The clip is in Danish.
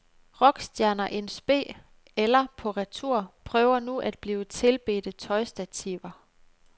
Rockstjerner in spe eller på retur prøver nu at blive tilbedte tøjstativer.